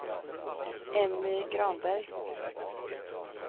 Emmy Granberg